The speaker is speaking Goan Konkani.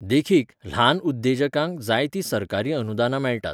देखीक, ल्हान उद्येजकांक जायतीं सरकारी अनुदानां मेळटात.